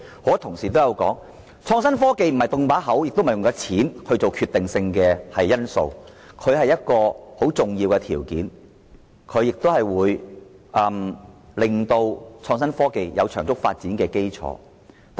很多同事都指出，作出承諾和金錢並非創新科技的決定性因素，它只是一些重要條件，為創新科技打好得以長足發展的基礎。